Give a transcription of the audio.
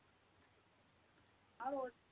ആ road